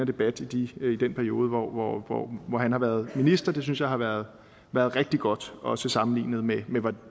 debat i den periode hvor hvor han har været minister det synes jeg har været rigtig godt også sammenlignet med